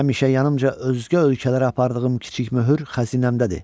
Həmişə yanımca özgə ölkələrə apardığım kiçik möhür xəzinəmdədir.